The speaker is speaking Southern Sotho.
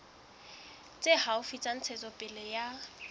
tse haufi tsa ntshetsopele ya